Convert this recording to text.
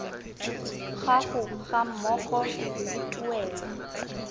gago ga mmogo le tuelo